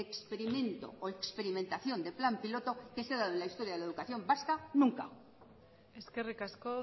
experimento o experimentación de plan piloto que se ha dado en la historia de la educación vasca nunca eskerrik asko